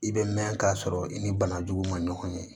I bɛ mɛn k'a sɔrɔ i ni banajugu ma ɲɔgɔn ɲɛ